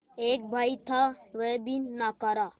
एक भाई था वह भी नाकारा